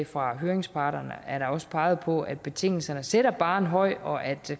fra høringsparterne er der også peget på at betingelsen sætter barren højt og at